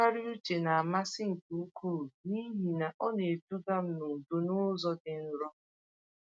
Ntụgharị uche n'amasị nke ukwuu n’ihi na ọ na-eduga m n’udo n’ụzọ dị nro.